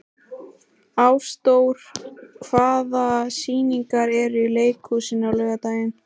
Ásdór, hvaða sýningar eru í leikhúsinu á laugardaginn?